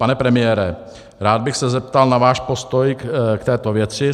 Pane premiére, rád bych se zeptal na váš postoj k této věci.